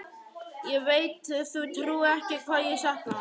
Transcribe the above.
Ég veit þú trúir ekki hvað ég sakna hans.